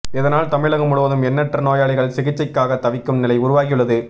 இதனால் தமிழகம் முழுவதும் எண்ணற்ற நோயாளிகள் சிகிச்சைக்காக தவிக்கும் நிலை உருவாகியுள்ளது